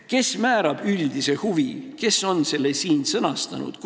Kes määrab üldise huvi, kes on selle siin sõnastanud?